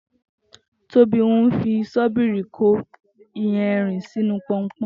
Tobi n fi ṣọ̀bíri kó iyànrín sinú pọ̀npọ̀n